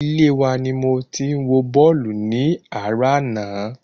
Ilé wa ni mo ti wo bọ́ọ̀lù ní àárò ana